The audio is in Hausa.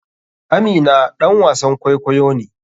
Amina ɗan wasan kwaikwayo ne.